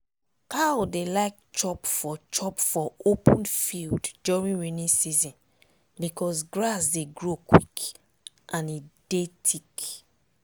cow dey like chop for chop for open field during rainy season becos grass dey grow quick and e dey thick.